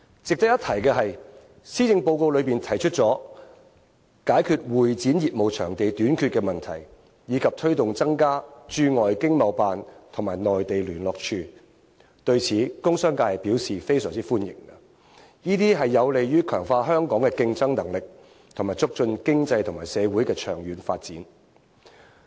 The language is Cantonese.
值得一提的是，施政報告提出解決香港會議展覽中心業務場地短缺的問題，以及推動增加駐外經貿辦與駐內地聯絡處，對此，工商界表示非常歡迎，這些都有利於強化香港的競爭力和促進經濟及社會的長遠發展。